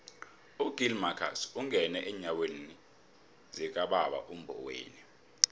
ugill marcus ungene eenyathelweni zikababa umboweni